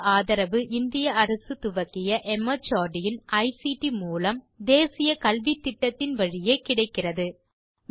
இதற்கு ஆதரவு இந்திய அரசு துவக்கிய மார்ட் இன் ஐசிடி மூலம் தேசிய கல்வித்திட்டத்தின் வழியே கிடைக்கிறது